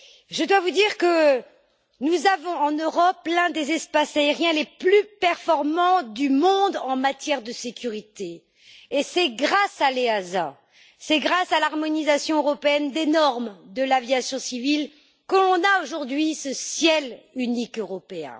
Je dois vous dire que nous avons en Europe l'un des espaces aériens les plus performants du monde en matière de sécurité et c'est grâce à l'EASA, c'est grâce à l'harmonisation européenne des normes de l'aviation civile, que nous avons aujourd'hui ce ciel unique européen.